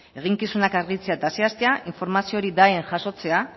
eginkizunak argitzea eta zehaztea informazio hori jasotzea